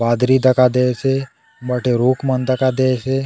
बदली दखा दयेसे हुन बाटे रूख मन दखा दयेसे--